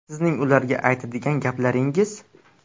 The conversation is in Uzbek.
Sizning ularga aytadigan gaplaringiz?